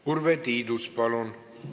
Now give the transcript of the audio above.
Urve Tiidus, palun!